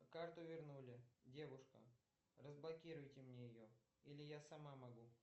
карту вернули девушка разблокируйте мне ее или я сама могу